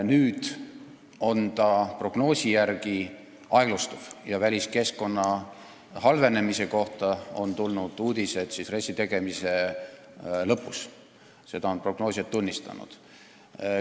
Nüüd on ta prognoosi järgi aeglustuv, väliskeskkonna halvenemise kohta tulid uudised RES-i tegemise lõpus, seda on prognoosijad tunnistanud.